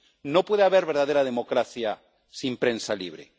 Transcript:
No puede haber verdadera democracia sin prensa libre.